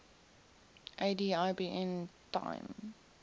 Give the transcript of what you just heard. ad ibn taim